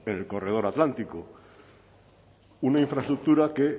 en el corredor atlántico una infraestructura que